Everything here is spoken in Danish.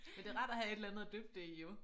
Men det rart at have et eller andet at dyppe det i jo